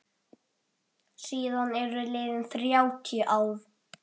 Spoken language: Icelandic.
Síðan eru liðin þrjátíu ár.